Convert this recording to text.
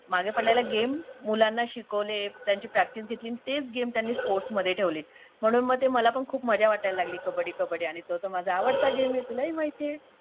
मागे पडलेल्या गेम मुलांना शिकवले त्यांची प्रॅक्टिस घेतली अंडी तेच गेम त्यांनी स्पोर्ट्स मध्ये ठेवले म्हणून मग मला पण ते खूप मजा वाटायला लागली कब्बडी कब्बडी आणि तो तर माझा आवडता गेम आहे तुलाही माहितीए